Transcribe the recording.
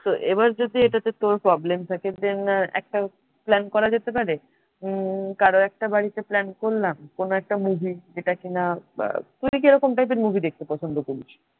তো এবার যদি এটাতে তোর problem থাকে than একটা plan করা যেতে পারে উম কারোর একটা বাড়িতে plan করলাম, কোন একটা movie র যেটা কিনা তুই কিরকম ধরনের movie দেখতে পছন্দ করিস?